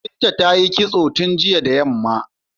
Binta ta yi kitso tun jiya da yamma.